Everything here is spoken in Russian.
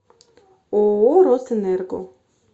ооо росэнерго